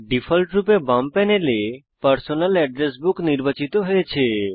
ডিফল্টরূপে বাম প্যানেলে পার্সোনাল এড্রেস বুক নির্বাচিত হয়েছে